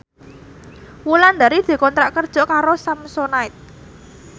Wulandari dikontrak kerja karo Samsonite